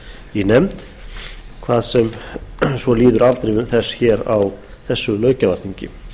í nefnd hvað svo sem líður afdrifum þess á þessu löggjafarþingi